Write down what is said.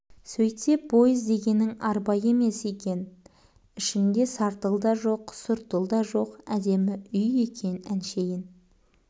сөйтсе пойыз дегенің арба емес екен ішінде сартыл да жоқ сұртыл да жоқ әдемі үй екен әншейін